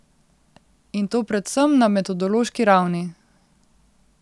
In to predvsem na metodološki ravni.